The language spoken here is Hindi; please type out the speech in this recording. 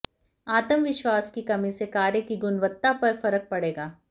आत्मविश्वास की कमी से कार्य की गुणवत्ता पर फर्क पड़ेगा